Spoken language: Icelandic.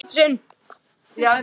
Amma hafði áhuga á fötum.